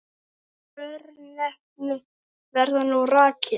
Þessi örnefni verða nú rakin